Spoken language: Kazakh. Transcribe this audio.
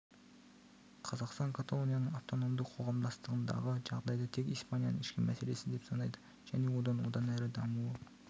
қазақстан каталонияның автономды қоғамдастығындағы жағдайды тек испанияның ішкі мәселесі деп санайды және оның одан әрі дамуы